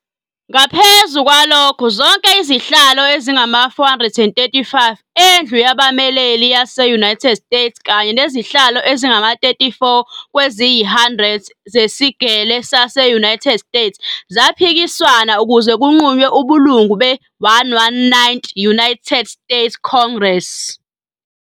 Ngaphezu kwalokho, zonke izihlalo ezingama-435 eNdlu Yabameleli Yase-United States kanye nezihlalo ezingama-34 kweziyi-100 zeSigele Sase-United States zaphikiswana ukuze kunqunywe ubulungu be- 119th United States Congress.